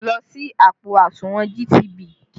Lọ ṣí àpò àsùnwọ̀n GTB!